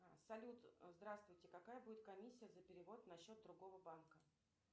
салют здравствуйте какая будет комиссия за перевод на счет другого банка